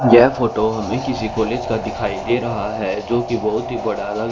यह फोटो हमे किसी कॉलेज का दिखाई दे रहा हैं जोकि बहोत ही बड़ा ल--